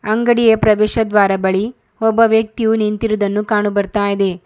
ಅಂಗಡಿಯ ಪ್ರವೇಶ ದ್ವಾರ ಬಳಿ ಒಬ್ಬ ವ್ಯಕ್ತಿಯು ನಿಂತಿರುದನ್ನು ಕಾಣುಬರ್ತಾಇದೆ.